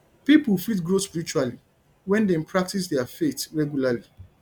pipo fit grow spiritually wen dem practice their faith regularly